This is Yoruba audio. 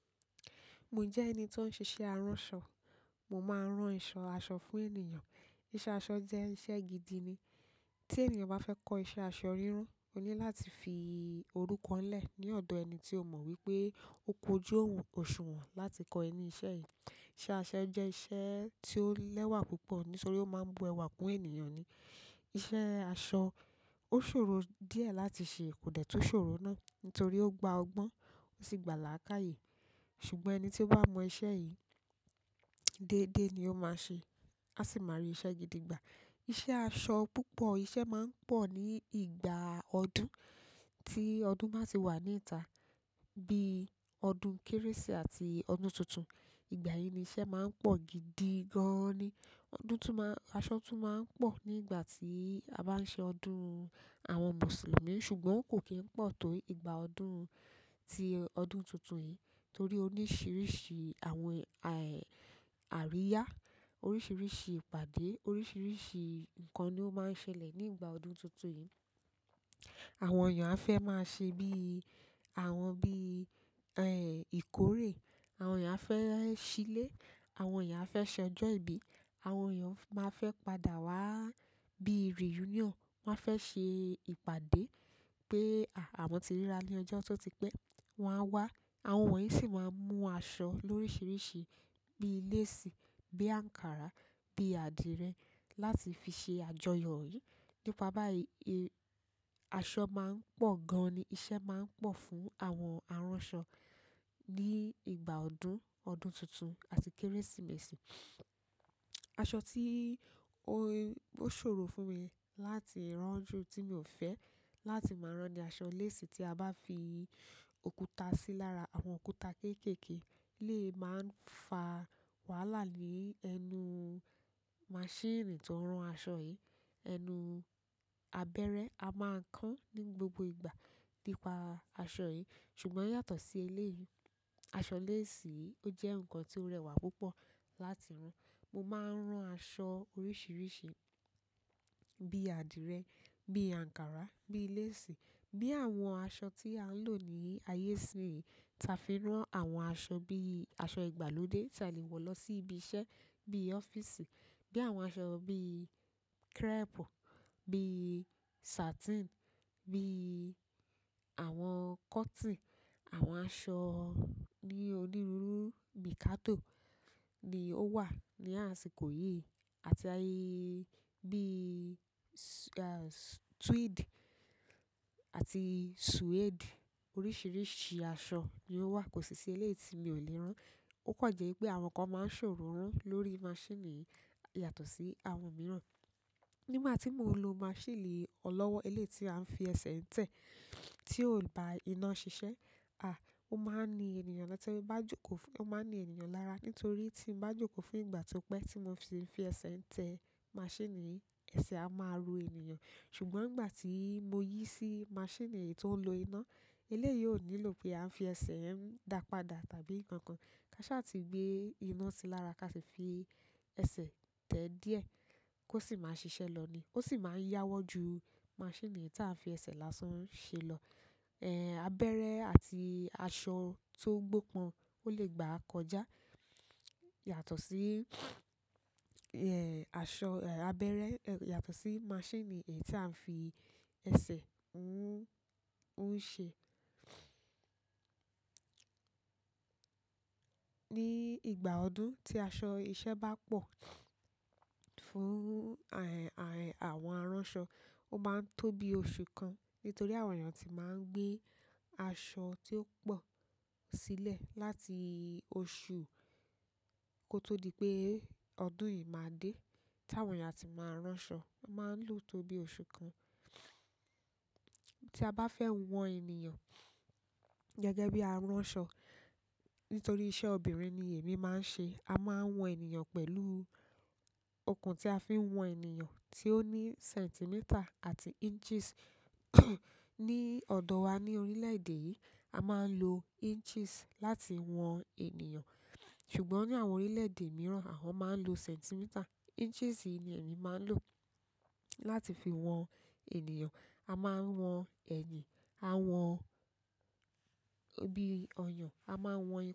Mo jẹ ẹni tó ń ṣiṣẹ́ aránṣọ. Mo máa ń rán aṣọ fún ènìyàn. Iṣẹ́ aṣọ jẹ́ iṣẹ́ gidi ni. Tí ènìyàn bá fẹ́ kọ iṣẹ́ aṣọ ríran, ó ní láti fi orúkọ lé ní odò ẹni tí ó mọ̀ wí pé ó kojú òun òṣùwọ̀n láti kọ ẹ ní iṣẹ́. Yìí. Iṣẹ́ aṣọ jẹ́ iṣẹ́ tí ó lẹ́wà púpọ̀ nítorí ó máa ń bu ẹwà kún ènìyàn ni. Iṣẹ́ èso ó sọ̀rọ̀ díẹ̀ láti ṣe kò dẹ tú sọ̀rọ̀ náà nítorí ó gba ọgbọ̀n ó sì gbála àlàyé. Ṣùgbọ́n ẹni tí ó bá mọ iṣẹ́ yìí dédé ni ó máa ṣe, á sì máa rí iṣẹ́ gidi gbà. Iṣẹ́ aṣọ púpọ̀ iṣẹ́ máa ń pọ̀ ní ìgbà ọdún tí ọdún máa ti wà ní ìta bí i ọdún Kérésìmesì àti ọdún tuntun. Ìgbà yìí ni iṣẹ́ máa ń pọ̀ gidi gan ni. Ọdún tún má, aṣọ tún má ń pọ̀ nígbà tí a bá ń ṣe ọdún àwọn Mùsùlùmí, ṣùgbọ́n kò kí n pọ̀ tó ìgbà ọdún tí tuntun yẹn nítorí oríṣiríṣi àwọn eh àríyá, oríṣiríṣi ìpàdé, oríṣiríṣi nǹkan ni ó máa ń ṣẹlẹ̀ ní ìgbà ọdún tuntun yìí. Àwọn èèyàn a fẹ́ máa ṣe bí i, àwọn bí i, ẹ̀ẹ́, ìkórè, àwọn èèyàn á fẹ́ sílẹ̀, àwọn èèyàn a fẹ́ ṣẹjọ́ ibí, àwọn èèyàn máa fẹ́ padà wá bí i reunion. Wọ́n fẹ́ ṣe ìpàdé pé, a, àwọn tí ríra ní ọjọ́ ọtọ́ ti pé, wọ́n á wá. Àwọn wọ̀nyí sì máa ń mú aṣọ lórísììrísìí bí i lace, bí i àǹkárá, bí i àdìrẹ láti fi ṣe àjọyọ̀. Nípa báyìí, aṣọ máa ń pọ̀ gan ni. Iṣẹ́ máa ń pọ̀ fún àwọn aránṣọ ní ìgbà ọdún, ọdún tuntun àti Kérésìmesì. Aṣọ tí ó, ó ṣòro fún mi láti rán ju tí mi ò fẹ́ láti máa rán ní aṣọ lace tí a bá fi òkúta sí lára. Àwọn òkúta kéékèèké lè máa ń fa wàhálà ní ẹnu masiini tó ń rán aṣọ yìí. Ẹnu abẹ́rẹ́ a máa ń kán ní gbogbo ìgbà nípa aṣọ yìí. Ṣùgbọ́n yasó sí eléyìí, aṣọ leésì ó jẹ́ nǹkan tí ó rẹwà púpọ̀. Mo máa ń ra aṣọ oríṣiríṣi bí i àdìrẹ, bí i àǹkárá, bí i lace, bí i àwọn aṣọ tí à ń lò ní ayé ìsìnyíi. Tàfí rán àwọn aṣọ bí i aṣọ ìgbàlódé tí a lè wọ lọ sí ibí iṣẹ́ bí i ọ́fíìsì, bí i àwọn aṣọ bí i crepe, bí i sàtín, bí i àwọn coton àwọn aṣọ bí onírúru mikado ni ó wà ní àsìkò yìí àti bíi ẹ́ẹ́, tweed àti suede. Oríṣiríṣi aṣọ ni ó wà. Kò sí iṣẹ́ eléyìí tí mi ò lè ràn. Ó kan jẹ́ wí pé àwọn kan máa ń sọ̀rọ̀ rán lórí masiini yàtọ̀ sí àwọn mìíràn. Nígbà tí mò ń lọ masiini olówó eléyìí tí à ń fi ẹsẹ̀ ń tẹ tí ó bá rina ṣiṣẹ́, a, ó máa ń ní ènìyàn lọ́tẹ̀wẹ̀ bá jókòó fún-- ó máa ń ní ènìyàn lára nítorí tí ń bá jókòó fún ìgbà tí ó pé tí mo fi ń fi ẹsẹ̀ ń tẹ masiini yìí, ẹsẹ̀ a máa rọ ènìyàn. Ṣùgbọ́n ìgbà tí mo yìí sí masiini yìí tó ń lo iná, eléyìí ó nílò pé à ń fi ẹsẹ̀ ń dápadá tàbí nǹkan kan. Kàsà ti gbé iná sí lára, kà sì fi ẹsẹ̀ tẹ díẹ̀ kò sí máa ṣiṣẹ́ lọ ni. Ó sì máa ń yáwọ́ ju masiini tí a fi ẹsẹ̀ lásán ń ṣe lọ. Ẹ̀ẹ́, abẹ́rẹ́ àti aṣọ tó gbọ́ pọn ò lè gbà kọjá yàtọ̀ sí, ẹ̀ẹ́, aṣọ, ẹ̀ẹ́, abẹ́rẹ́ yàtọ̀ sí masiini yìí tí à ń fi ẹsẹ̀ ń ṣe. Ní ìgbà ọdún tí aṣọ iṣẹ́ bá pọ̀ fún, ẹ̀ẹ́, àwọn aránṣọ, ó máa ń tó bí oṣù kan nítorí àwọn èèyàn ti máa ń gbé aṣọ tí ó pọ̀ sílẹ̀ láti oṣù kó tó di pé ọdún yìí máa dé tí àwọn èèyàn àti máa ránṣo. Wọ́n máa ń lò ó tó bí ọ̀su kan. Tí a bá fẹ́ wọn ènìyàn gẹ́gẹ́ bẹ aránṣọ nítorí iṣẹ́ obìnrin ní ẹ̀mí má ń ṣe, a máa ń wọ́n ènìyàn pẹ̀lú okùn tí a fi ń wọ́n ènìyàn tí ó ní centimeta àti inches ní odò wà ní orílẹ̀ èdè yìí. A máa ń lo inches láti wọn ènìyàn. Ṣùgbọ́n ní àwọn orílẹ̀ èdè mìíràn, àwọn máa ń lo sẹ́ntimítà. Inches yìí ni èmi máa ń lò láti fi wọn ènìyàn. A máa ń wọn ẹ̀yìn, a wọn bí i ọyàn, a máa ń wọn.